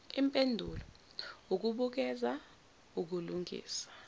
impendulo ukubukeza ukulungisa